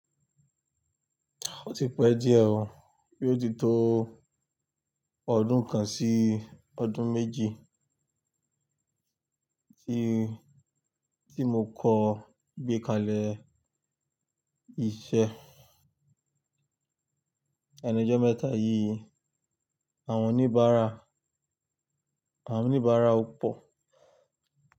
Ó ti pẹ́ díẹ̀ ò, yí ó ti tó ọdún kan sí ọdún méjì tí, tí mo kọ gbé kalẹ̀ iṣẹ́ ẹnu ọjọ́ mẹ́ta yìí. Àwọn oníbàárà, àwọn oníbàárà ò pọ̀